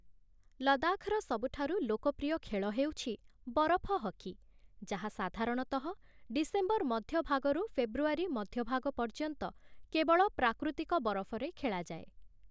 ଲଦାଖର ସବୁଠାରୁ ଲୋକପ୍ରିୟ ଖେଳ ହେଉଛି ବରଫ ହକି, ଯାହା ସାଧାରଣତଃ ଡିସେମ୍ବର ମଧ୍ୟଭାଗରୁ ଫେବୃଆରୀ ମଧ୍ୟଭାଗ ପର୍ଯ୍ୟନ୍ତ କେବଳ ପ୍ରାକୃତିକ ବରଫରେ ଖେଳାଯାଏ ।